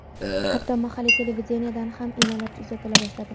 Hatto mahalliy televideniyedan ham e’lonlar uzatila boshladi.